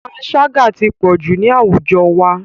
Panṣágà ti pọ̀jù ní àwùjọ wa.